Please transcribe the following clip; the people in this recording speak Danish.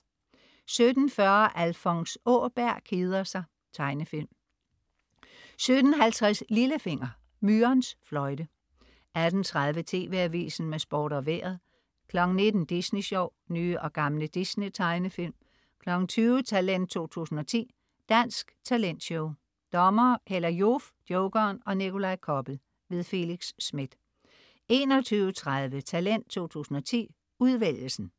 17.40 Alfons Åberg keder sig. Tegnefilm 17.50 Lillefinger. Myrens fløjte 18.30 TV AVISEN med Sport og Vejret 19.00 Disney Sjov. Nye og gamle Disney-tegnefilm 20.00 Talent 2010. Dansk talentshow. Dommere: Hella Joof, Jokeren og Nikolaj Koppel. Felix Smith 21.30 Talent 2010, udvælgelsen